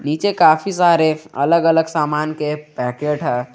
नीचे काफी सारे अलग अलग सामान के पैकेट है।